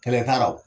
Kɛlɛ t'a rɔ